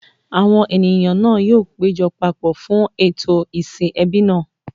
Àwọn ènìyàn náà yóò péjọ papọ̀ fún ètò ìsìn ẹbí náà.